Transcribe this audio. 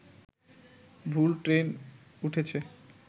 ভুল ট্রেন উঠেছে